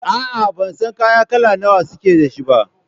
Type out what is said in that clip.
A'a, ban san kaya kala nawa suke da shi ba.